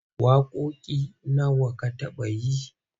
Waƙoƙi nawa ka taɓa yi?